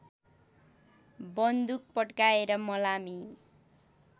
बन्दुक पड्काएर मलामी